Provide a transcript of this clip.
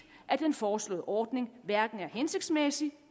at den foreslåede ordning hverken er hensigtsmæssig